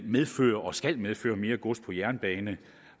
medfører og skal medføre mere gods på jernbane